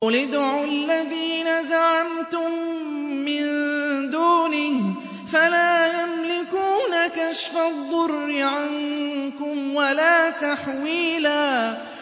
قُلِ ادْعُوا الَّذِينَ زَعَمْتُم مِّن دُونِهِ فَلَا يَمْلِكُونَ كَشْفَ الضُّرِّ عَنكُمْ وَلَا تَحْوِيلًا